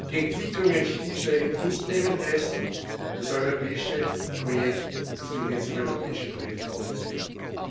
Die Entwicklungen stillschweigend hinzunehmen, heißt, das europäische Projekt das gemeinsame europäische Projekt aufzugeben.